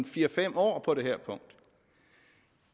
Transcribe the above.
fire fem år